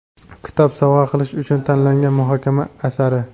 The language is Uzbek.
kitob sovg‘a qilish uchun tanlangan muhokama asari.